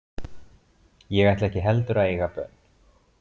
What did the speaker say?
Ég ætla ekki heldur að eiga börn.